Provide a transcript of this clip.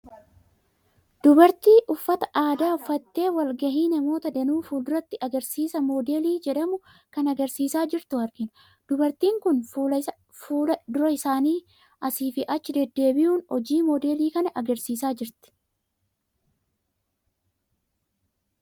Dubartii uffata aadaa uffattee wal ga'ii namoota danuu fuulduratti agarsiisa Moodelii jedhamu kan agarsiisaa jirtu argina. Dubartiin kun fuula dura isaanii asii fi achi deddeebi'uun hojii Moodelii kana agarsiisaa jirti.